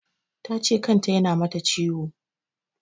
Ta ce kan ta ya na mata ciwo